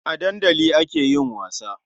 A dandali ake yin wasa.